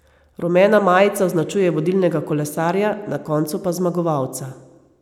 Rumena majica označuje vodilnega kolesarja, na koncu pa zmagovalca.